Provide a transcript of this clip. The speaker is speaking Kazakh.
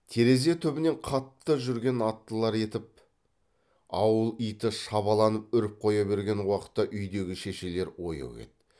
терезе түбінен қатты жүрген аттылар етіп ауыл иті шабаланып үріп қоя берген уақытта үйдегі шешелер ояу еді